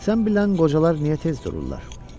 Sən bilən qocalar niyə tez dururlar?